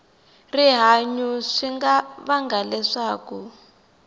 rihanyu swi nga vanga leswaku